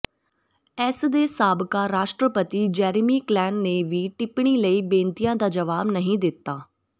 ਇਸ ਦੇ ਸਾਬਕਾ ਰਾਸ਼ਟਰਪਤੀ ਜੇਰੇਮੀ ਕਲੇਨ ਨੇ ਵੀ ਟਿੱਪਣੀ ਲਈ ਬੇਨਤੀਆਂ ਦਾ ਜਵਾਬ ਨਹੀਂ ਦਿੱਤਾ